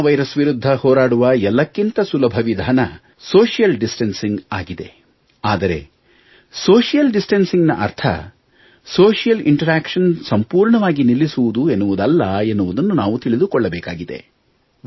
corona virus ವಿರುದ್ಧ ಹೋರಾಡುವ ಎಲ್ಲಕ್ಕಿಂತ ಸುಲಭ ವಿಧಾನ ಸೋಶಿಯಲ್ ಡಿಸ್ಟಾನ್ಸಿಂಗ್ ಆಗಿದೆ ಆದರೆ ಸೋಶಿಯಲ್ ಡಿಸ್ಟಾನ್ಸಿಂಗ್ ನ ಅರ್ಥ ಸೋಶಿಯಲ್ ಇಂಟರ್ಯಾಕ್ಷನ್ ಸಂಪೂರ್ಣವಾಗಿ ನಿಲ್ಲಿಸುವುದು ಎನ್ನುವುದಲ್ಲ ಎಂದು ನಾವು ತಿಳಿದುಕೊಳ್ಳಬೇಕಿದೆ